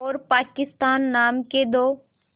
और पाकिस्तान नाम के दो